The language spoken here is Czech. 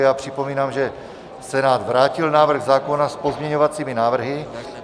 Já připomínám, že Senát vrátil návrh zákona s pozměňovacími návrhy.